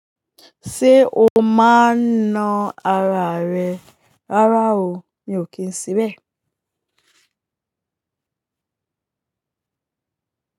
Ṣé o máa ń na ara rẹ rárá o, mi ò kí ń se bẹ̀e.